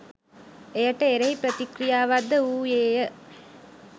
එයට එරෙහි ප්‍රතික්‍රියාවක් ද වූයේ ය.